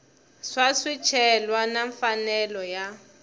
wa swicelwa na mfanelo ya